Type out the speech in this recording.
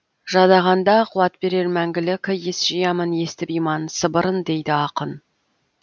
жадағанда қуат берер мәңгілік ес жиямын естіп иман сыбырын дейді ақын